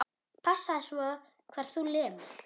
Passaðu svo hvar þú lemur.